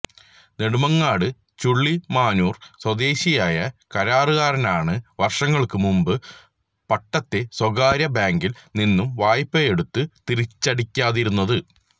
നെടുമങ്ങാട് ചുള്ളിമാനൂര് സ്വദേശിയായ കരാറുകാരനാണ് വര്ഷങ്ങള്ക്കു മുന്പ് പട്ടത്തെ സ്വകാര്യ ബാങ്കില് നിന്നും വായ്പയെടുത്ത് തിരിച്ചടക്കാതിരുന്നത്